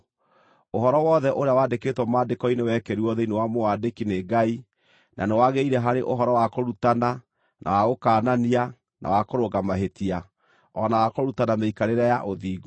Ũhoro wothe ũrĩa wandĩkĩtwo Maandĩko-inĩ wekĩrirwo thĩinĩ wa mũwandĩki nĩ Ngai, na nĩwagĩrĩire harĩ ũhoro wa kũrutana, na wa gũkaanania, na wa kũrũnga mahĩtia, o na wa kũrutana mĩikarĩre ya ũthingu,